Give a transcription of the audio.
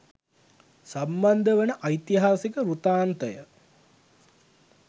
සම්බන්ධ වන ඓතිහාසික වෘතාන්තය